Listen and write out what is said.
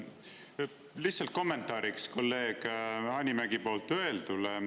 Lihtsalt kommentaariks kolleeg Hanimägi poolt öeldule.